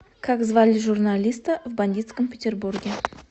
как звали журналиста в бандитском петербурге